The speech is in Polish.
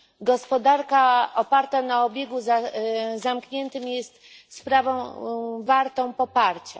Gospodarka oparta na obiegu zamkniętym jest sprawą wartą poparcia.